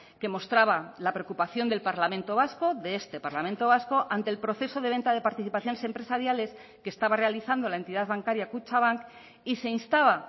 que mostraba la preocupación del parlamento vasco de este parlamento vasco ante el proceso de venta de participaciones empresariales que estaba realizando la entidad bancaria kutxabank y se instaba